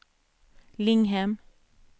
Linghem